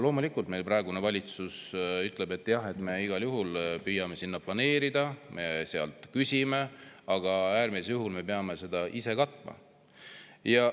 Loomulikult ütleb praegune valitsus, et jah, me igal juhul püüame sinna raha planeerida, me sealt küsime, aga äärmisel juhul me peame selle ise katma.